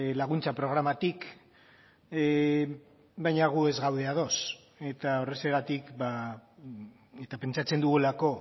laguntza programatik baina gu ez gaude ados eta horrexegatik eta pentsatzen dugulako